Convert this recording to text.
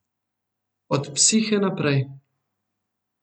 Od psihe naprej.